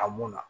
A munna